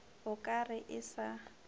o ka re e sa